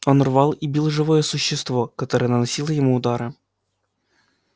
он рвал и бил живое существо которое наносило ему удары